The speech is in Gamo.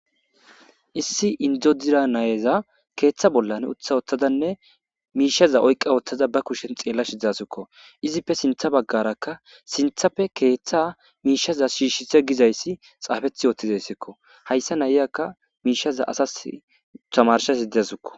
Issi indzodira nayeza keeththa bollan utha oththadanne miishaza oyqqa ooththaza ba kushen xeella shidzasukko izippe sintha baggarakka sinthapfe keeththa miishaza shiishshise gizayssi xaafeth yoottizayssikko hayssa nayiyaka miishaza asas tamarsha sidesukko.